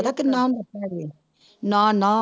ਪਤਾ ਕਿੰਨਾ ਨਾ ਨਾ